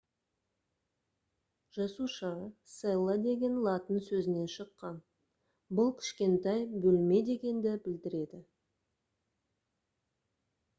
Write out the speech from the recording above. жасуша cella деген латын сөзінен шыққан бұл «кішкентай бөлме» дегенді білдіреді